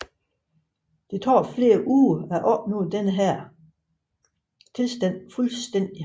Det tager flere uger at opnå denne tilstand fuldstændigt